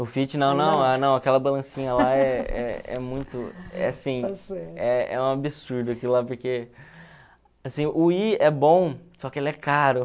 O Fit, não, não, não aquela balancinha lá é é é muito, é assim, é é um absurdo aquilo lá, porque, assim, o Wii é bom, só que ele é caro.